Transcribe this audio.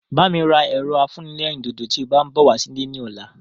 Bá mi ra ẹ̀rọ afúnẹlérìndòdò tí o bá ń bọ̀ wá sí ilé ní ọ̀la